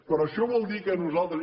però això vol dir que nosaltres